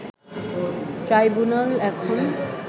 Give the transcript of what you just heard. tribunal এখন